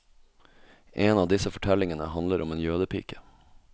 En av disse fortellingene handler om en jødepike.